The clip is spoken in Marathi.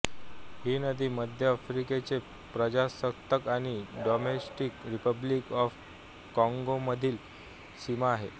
ही नदी मध्य आफ्रिकेचे प्रजासत्ताक आणि डेमॉक्रेटिक रिपब्लिक ऑफ कॉंगोमधील सीमा आहे